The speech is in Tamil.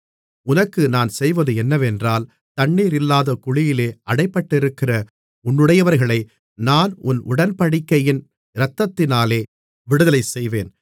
உனக்கு நான் செய்வது என்னவென்றால் தண்ணீரில்லாத குழியிலே அடைபட்டிருக்கிற உன்னுடையவர்களை நான் உன் உடன்படிக்கையின் இரத்தத்தினாலே விடுதலைசெய்வேன்